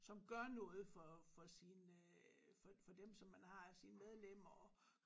Som gør noget for for sin øh for for dem som man har sine medlemmer og